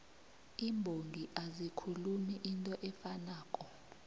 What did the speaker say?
iimbongi azikhulumi into efanako